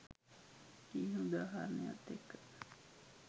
කියන උදාහරණයත් එක්ක.